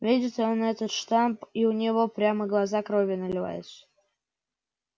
видит он этот штамп и у него прямо глаза кровью наливаются